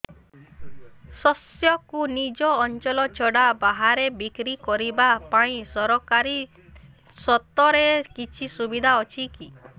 ଶସ୍ୟକୁ ନିଜ ଅଞ୍ଚଳ ଛଡା ବାହାରେ ବିକ୍ରି କରିବା ପାଇଁ ସରକାରୀ ସ୍ତରରେ କିଛି ସୁବିଧା ଅଛି କି